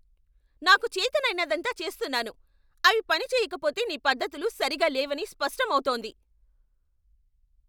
నాకు చేతనైనదంతా చేస్తున్నాను, అవి పని చెయ్యకపోతే నీ పద్దతులు సరిగ్గా లేవని స్పష్టం అవుతోంది.